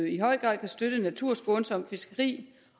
i høj grad kan støtte naturskånsomt fiskeri